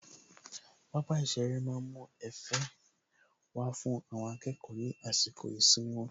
Pápá ìṣeré má ń mú Ẹ̀fẹ̀ wá fún àwọn akẹ́kọ̀ọ́ ní àsìkò ìsinmi wọn